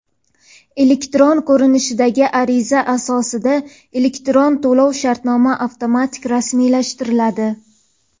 elektron ko‘rinishdagi ariza asosida elektron to‘lov-shartnoma avtomatik rasmiylashtiriladi.